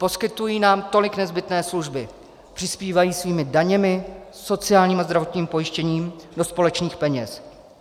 Poskytují nám tolik nezbytné služby, přispívají svými daněmi, sociálním a zdravotním pojištěním do společných peněz.